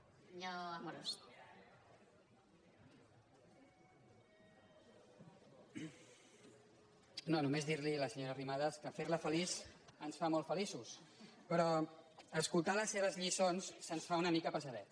no només dir li a la senyora arrimadas que fer la feliç ens fa molt feliços però escoltar les seves lliçons se’ns fa una mica pesadet